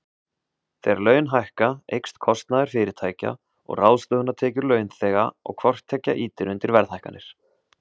Þegar laun hækka, eykst kostnaður fyrirtækja og ráðstöfunartekjur launþega og hvort tveggja ýtir undir verðhækkanir.